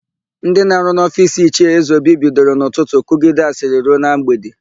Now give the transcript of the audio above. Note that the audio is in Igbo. Ndị na-arụ n'ofiisi Ichie Ezeobi bidoro n'ụtụtụ kụgide asịrị ruo na mgbede.